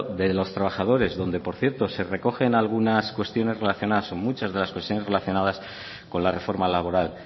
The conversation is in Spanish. de los trabajadores donde por cierto se recogen algunas cuestiones relacionadas o muchas de las cuestiones relacionadas con la reforma laboral